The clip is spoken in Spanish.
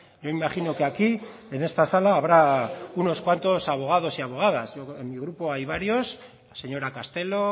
yo imagino que aquí en esta sala habrá unos cuantos abogados y abogadas en mi grupo hay varios la señora castelo